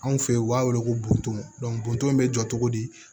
Anw fe ye u b'a wele ko boto bonton bɛ jɔ togo di